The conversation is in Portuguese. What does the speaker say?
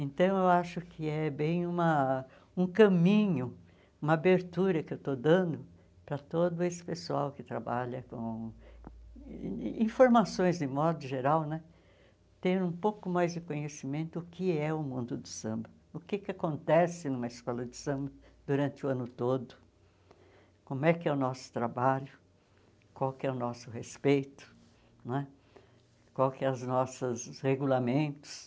Então, eu acho que é bem uma um caminho, uma abertura que eu estou dando para todo esse pessoal que trabalha com informações de modo geral né, ter um pouco mais de conhecimento do que é o mundo do samba, o que que acontece numa escola de samba durante o ano todo, como é que é o nosso trabalho, qual que é o nosso respeito não é, qual que é as nossas os regulamentos,